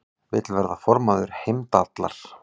Vill verða formaður Heimdallar